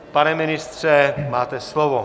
Pane ministře, máte slovo.